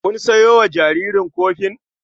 Kun sayo wa jaririn kofin?